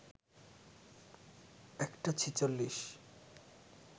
১টা ৪৬